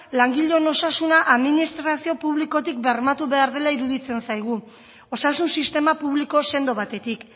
langileon osasuna administrazio publikotik bermatu behar dela iruditzen zaigu osasun sistema publiko sendo batetik